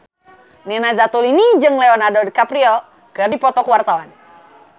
Nina Zatulini jeung Leonardo DiCaprio keur dipoto ku wartawan